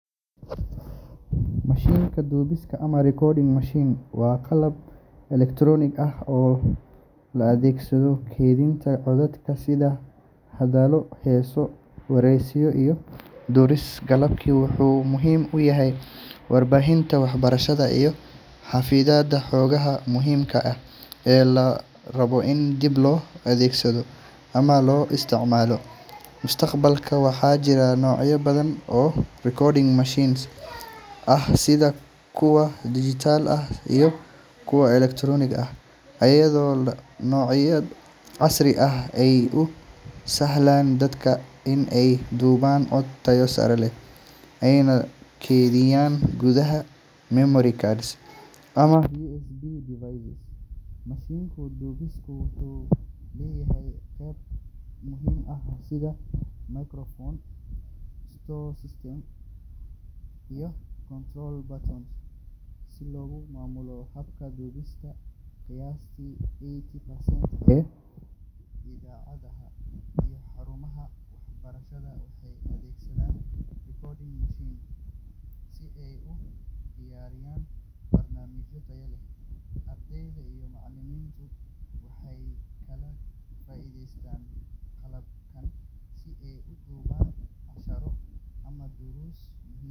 Mashiinka duubista ama recording machine waa qalab elektaroonig ah oo loo adeegsado kaydinta codadka sida hadallo, heeso, wareysiyo, iyo duruus. Qalabkan wuxuu muhiim u yahay warbaahinta, waxbarashada, iyo xafididda xogaha muhiimka ah ee la rabo in dib loo dhageysto ama loo isticmaalo mustaqbalka. Waxaa jira noocyo badan oo recording machines ah sida kuwa dijital ah iyo kuwa analoogga ah, iyadoo noocyada casriga ah ay u sahlaan dadka in ay duubaan cod tayo sare leh ayna keydiyaan gudaha memory cards ama USB devices. Mashiinka duubista wuxuu leeyahay qaybo muhiim ah sida microphone, storage system, iyo control buttons si loogu maamulo habka duubista. Qiyaastii eighty percent ee idaacadaha iyo xarumaha waxbarashada waxay adeegsadaan recording machines si ay u diyaariyaan barnaamijyo tayo leh. Ardayda iyo macallimiintu waxay sidoo kale ka faa’iideystaan qalabkan si ay u duubaan casharro ama.